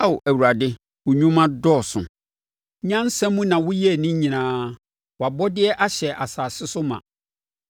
Ao Awurade, wo nnwuma dɔɔso! Nyansa mu na woyɛɛ ne nyinaa; wʼabɔdeɛ ahyɛ asase so ma.